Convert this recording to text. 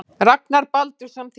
Ragnar Baldursson þýddi.